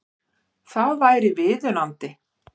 Það væri viðunandi